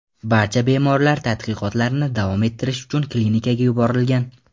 Barcha bemorlar tadqiqotlarni davom ettirish uchun klinikaga yuborilgan.